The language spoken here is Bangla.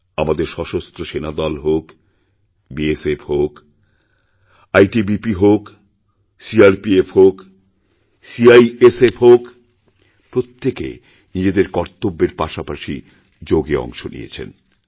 আমাদের সশস্ত্র সেনাদল হোক বিএসএফ হোক আইটিবিপি হোক সিআরপিএফহোক সিআইএসএফ হোক প্রত্যেকে নিজেদের কর্তব্যের পাশাপাশি যোগে অংশ নিয়েছে